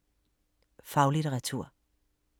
Faglitteratur